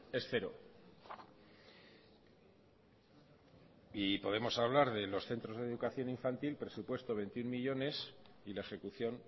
es cero y podemos hablar de los centros de educación infantil presupuesto veintiuno millónes y la ejecución